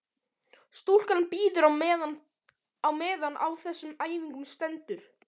Stúlkan bíður á meðan á þessum æfingum stendur.